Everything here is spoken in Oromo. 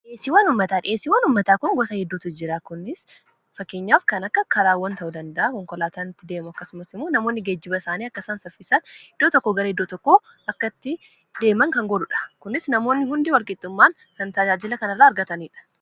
Dhiheesiiwwan ummataa kun gosa hedduutu jira. kunis fakkeenyaaf kan akka karaawwan ta'u danda'a konkolaataanitti deemu akkasumat imu namoonni geejiba isaanii akkasaam saffisaan iddoo tokko garae idoo tokko akkatti deeman kan godhuudha kunis namoonni hundi walqixummaan kan tajaajila kan irraa argataniidha